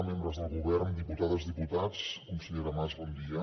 membres del govern diputades diputats consellera mas bon dia